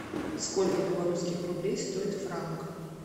сколько белорусских рублей стоит франк